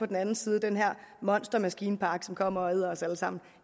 den anden side den her monstermaskinpark som kommer og æder os alle sammen